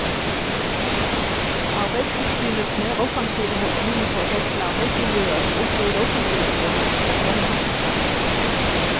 Arbeidstilsynets mer offensive holdning i forhold til arbeidsmiljøet også i det offentlige bør hilses velkommen.